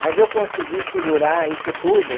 Mas eu consegui segurar isso tudo.